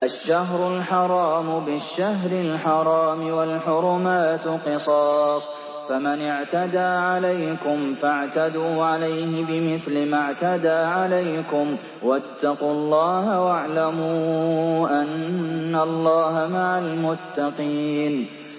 الشَّهْرُ الْحَرَامُ بِالشَّهْرِ الْحَرَامِ وَالْحُرُمَاتُ قِصَاصٌ ۚ فَمَنِ اعْتَدَىٰ عَلَيْكُمْ فَاعْتَدُوا عَلَيْهِ بِمِثْلِ مَا اعْتَدَىٰ عَلَيْكُمْ ۚ وَاتَّقُوا اللَّهَ وَاعْلَمُوا أَنَّ اللَّهَ مَعَ الْمُتَّقِينَ